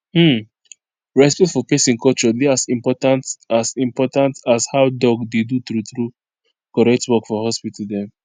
hmmm respect for peson culture dey as important as important as how doc dey do true true correct work for hospital dem